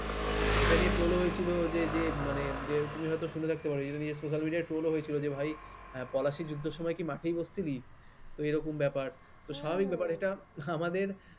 এটা নিয়ে troll হয়েছিল যে যে মানে যে তুমি হয়তো শুনে থাকতে পারো social media র troll হয়েছিল ভাই পলাশীর যুদ্ধের সময় কি মাঠে বসছিলি তো এরকম ব্যাপার তো স্বাভাবিক ব্যাপার এটা হ্যাঁ হ্যাঁ আমাদের